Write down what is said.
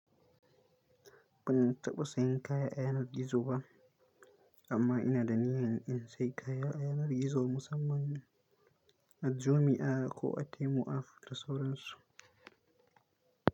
Ban taɓa sayan kaya a yanar gizo ba, amma ina da niyyar in sayi kaya a yanar gizo musamman a Jumia ko a Temu app da sauransu.